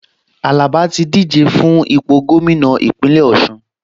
Àlàbá ti díje fún ipò gómìnà Ìpínlẹ̀ Ọ̀ṣun